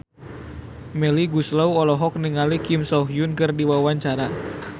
Melly Goeslaw olohok ningali Kim So Hyun keur diwawancara